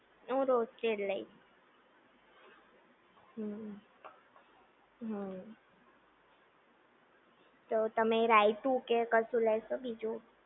હું રોસ્ટેડ લઈશ હમ્મ હમ્મ તો તેમ રાયતું કે કશું લેશો બીજુ